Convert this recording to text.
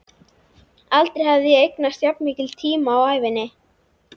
Aldrei hafði ég eignast jafn mikinn tíma á ævinni.